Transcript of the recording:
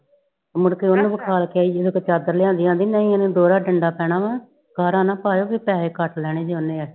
ਮੁੜ ਕੇ ਓਨੁ ਵਿਖਾ ਕੇ ਆਈ ਜਿਦੇ ਕੋਲ ਚਾਦਰ ਲਿਆਂਦੀ ਆਂਦੀ ਏਨੂੰ ਦੋਹਰਾ ਡੰਡਾ ਪੈਣਾ ਵਾ ਸਾਰਾ ਨਾ ਪਾਯੋ ਭੀ ਪੈਸੇ ਕਟ ਲੈਣੇ ਜੇ ਓਨੇ